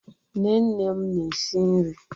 Nne nne m na-esi nri.